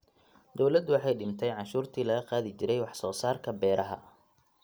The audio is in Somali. Dawladdu waxay dhimay cashuurtii laga qaadi jiray wax soo saarka beeraha.